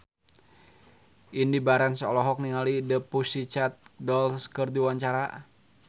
Indy Barens olohok ningali The Pussycat Dolls keur diwawancara